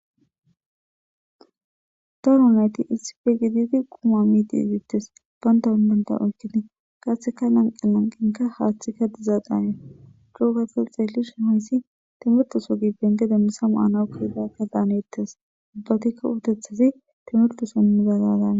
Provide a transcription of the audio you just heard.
Daro nayti issipe gididi quma miidi deetes. Banta banta oykkidi qaasika lanqe lanqinka haaththikka dizaadaane hannes .Co gada ta xeellish ha issi timirte so giben diza misa maanaw kiyida nayitudan hanetes. Ubbatikka uttetidi timirte so gaadaana.